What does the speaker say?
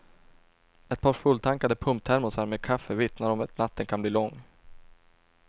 Ett par fulltankade pumptermosar med kaffe vittnar om att natten kan bli lång.